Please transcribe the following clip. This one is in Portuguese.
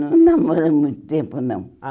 Não namoramos há muito tempo, não.